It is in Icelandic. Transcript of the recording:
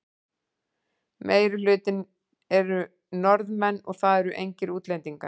Meirihlutinn eru Norðanmenn og það eru engir útlendingar.